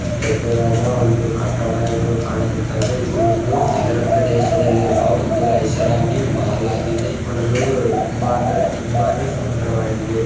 ದೊಡ್ಡದಾದ ಒಂದು ಕಟ್ಟಡ ಇದು ಕಾಣಿಸುತ್ತದೆ ಇದು ಒಂದು ನಗರ ಪ್ರದೇಶಲ್ಲಿರುವ ಒಂದು ಐಷಾರಾಮಿ ಮಾಲ್ ಆಗಿದೆ ನೋಡಲು ತುಂಬಾ ಅಂದ್ರೆ ತುಂಬಾನೇ ಸುಂದರವಾಗಿದೆ.